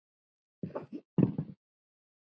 Bíddu hérna.